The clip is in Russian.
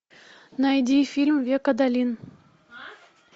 найди фильм век адалин